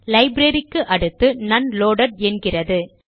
library க்கு அடுத்து non loaded என்கிறது